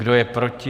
Kdo je proti?